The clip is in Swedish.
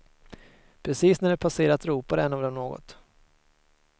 Precis när de passerat ropade en av dem något.